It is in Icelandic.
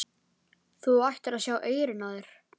Þú ættir að sjá eyrun á þér!